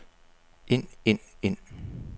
ind ind ind